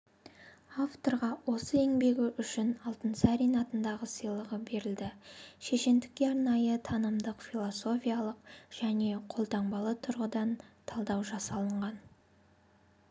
авторға осы еңбегі үшін алтынсарин атындағы сыйлығы берілді шешендікке арнайы танымдық-философиялық және қолтаңбалы тұрғыдан талдау жасалынған